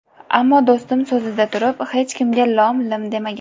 Ammo do‘stim so‘zida turib, hech kimga lom-lim demagan.